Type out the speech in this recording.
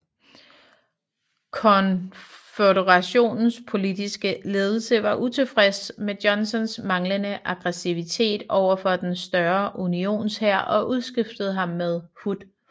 Konføderationens politiske ledelse var utilfreds med Johnstons manglende aggressivitet overfor den større Unionshær og udskiftede ham med Hood